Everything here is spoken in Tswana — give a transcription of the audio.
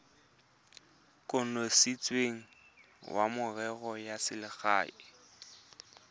kanisitsweng wa merero ya selegae